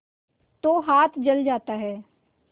तो हाथ जल जाता है